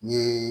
Ni